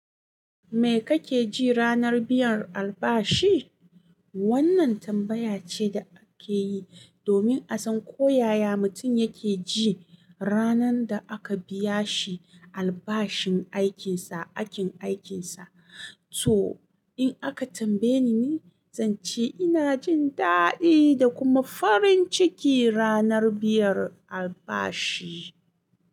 Me kake ji ranar biyan albashi? Wannan tambaya ce da ake yi domin a san ko yaya mutum yake ji ranar da aka biya shi albashin aikinsa, aikin aikinsa. To, in aka tambaye ni, zan ce ina jin daɗi da kuma farin ciki ranar biyan albashi.